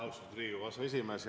Austatud Riigikogu aseesimees!